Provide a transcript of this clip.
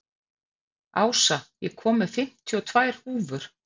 Ása, ég kom með fimmtíu og tvær húfur!